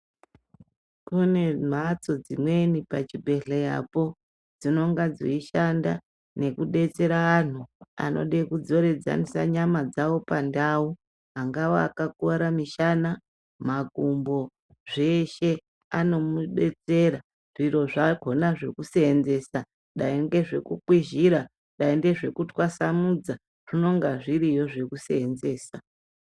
Kune mbatso dzimweni pachibhendhleyapo dzinenge dzeishanda nekubetsera antu anenge eida kudzoredza nyama dzawo pandau angaa akakuwara mushana, makumbo, zveshe anomubetsera, zviro zvakhona zvekuseenzesa Dai ngezvekukwizhira Dai ngezvekutwasanudza zvinonga zviri yo zvekuseenzesa